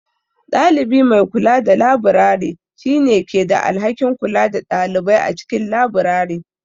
Ɗalibi mai kula da labirari, shi ne ke da alhakin kula da ɗalibai a cikin labirari.